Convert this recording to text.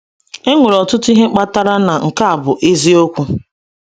E nwere ọtụtụ ihe kpatara na nke a bụ eziokwu.